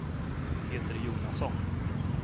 Peter Jonasson